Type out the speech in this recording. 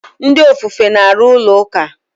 Ndị ofufe na-arụ ụlọ ụka.